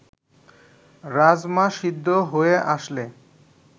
রাজমা সিদ্ধ হয়ে আসলে